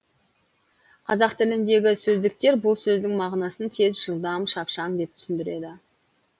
қазақ тіліндегі сөздіктер бұл сөздің мағынасын тез жылдам шапшаң деп түсіндіреді